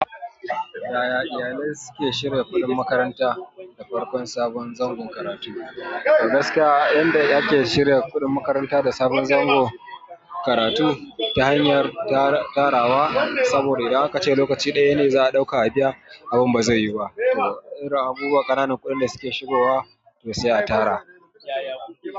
Yaya iyalai suke shirya kuɗin makaranta da farkon sabon zangon karatu? Gaskiya yanda ake shirya kuɗin makaranta da sabon zango karatu ta hanyar tarawa. Saboda idan ka ce lokaci ɗaya ne za a ɗauka a biya, abun ba zai yi ba. Irin abubuwa ƙananan kuɗin da suke shigowa to sai a tara.